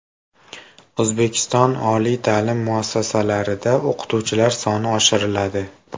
O‘zbekiston oliy ta’lim muassasalarida o‘qituvchilar soni oshiriladi.